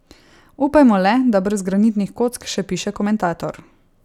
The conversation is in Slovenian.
Upajmo le, da brez granitnih kock, še piše komentator.